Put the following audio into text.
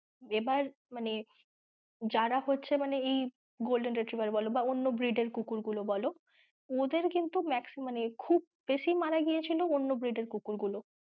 এবার মানে যারা হচ্ছে মানে এই golden retriver বলো বা অন্য breed এর কুকুর গুলো বলো ওদের কিন্তু মানে খুব বেশি মারা গিয়েছিলো অন্য breed এর কুকুর গুলো।